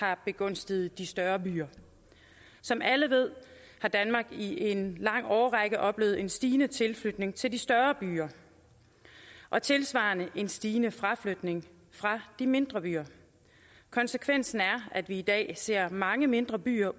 har begunstiget de større byer som alle ved har danmark i en lang årrække oplevet en stigende tilflytning til de større byer og tilsvarende en stigende fraflytning fra de mindre byer konsekvensen er at vi i dag ser mange mindre byer